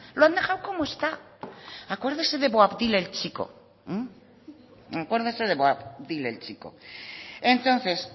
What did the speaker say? lo han dejado como está acuérdese de boabdi el chico entonces